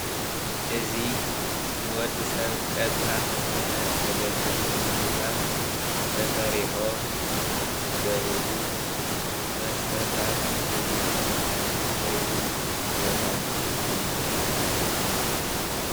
እዚ ንወዲ ሰብ ቀጥታ ምግብነት ዘገልግሉ ምግብታት ተሰሪሖም ዝምገበሉ መስተታት ድማ ዝስተዩሉ ቦታ እዩ።